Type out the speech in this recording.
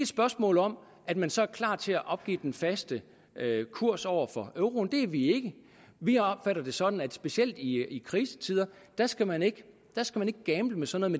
spørgsmål om at man så er klar til at opgive den faste kurs over for euroen det er vi ikke vi opfatter det sådan at specielt i krisetider skal man ikke gamble med sådan